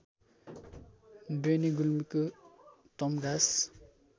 बेनी गुल्मीको तम्घास